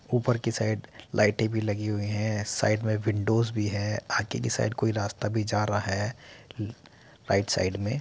ऊपर की साइड लाइटे भी लगी हुई है। साइड में विंडोज़ भी है आगे की साइड कोई रास्ता भी जा रहा है राइट साइड में --